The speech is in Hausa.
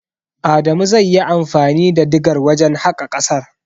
Adamu zai yi anfani da digar wajen haƙa ƙasar.